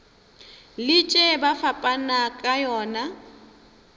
letše ba fapana ka yona